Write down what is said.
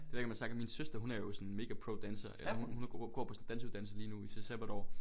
Det ved jeg ikke om jeg har sagt men min søster hun er jo sådan en mega pro danser og hun hun går på sådan en danseuddannelse lige nu i sit sabbatår